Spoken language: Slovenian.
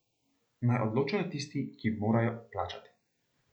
Naj odločijo tisti, ki morajo plačati.